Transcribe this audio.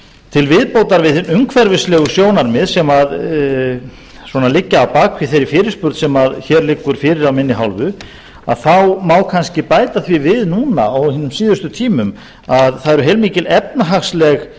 til viðbótar á hin umhverfislegu sjónarmið sem svona liggja að baki þeirri fyrirspurn sem hér liggur fyrir af minni hálfu að þá má kannski bæta því við núna á hinum síðustu tímum að það eru heilmikil efnahagsleg